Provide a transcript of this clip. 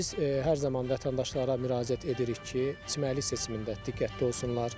Biz hər zaman vətəndaşlara müraciət edirik ki, çimərlik seçimində diqqətli olsunlar.